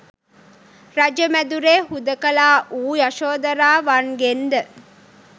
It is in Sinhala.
රජ මැදුරේ හුදෙකලා වූ යශෝදරාවන්ගෙන්ද